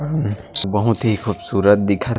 बहोत ही खूबसूरत दिखत--